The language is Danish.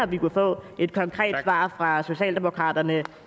vi kunne få et konkret svar fra socialdemokraterne